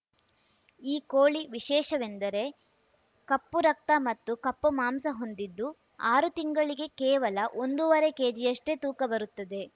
ಈ ಕೋಳಿ ವಿಶೇಷವೆಂದರೆ ಕಪ್ಪು ರಕ್ತ ಮತ್ತು ಕಪ್ಪು ಮಾಂಸ ಹೊಂದಿದ್ದು ಆರು ತಿಂಗಳಿಗೆ ಕೇವಲ ಒಂದೂವರೆ ಕೆಜಿಯಷ್ಟೇ ತೂಕ ಬರುತ್ತದೆ